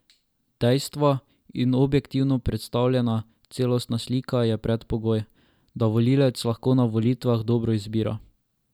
Dejstva in objektivno predstavljena, celostna slika je predpogoj, da volivec lahko na volitvah dobro izbira.